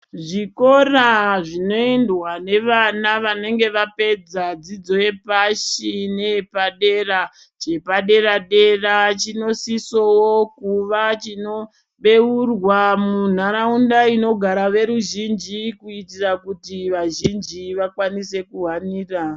Zvikora zvinoendwa nevana vanenge vapedza dzidzo yepashi neyepadera. Chepadera-dera chinosisavo kuva chinobeurwa munharaunda inogara veruzhinji kuitira kuti vazhinji vakwanise kuhanira.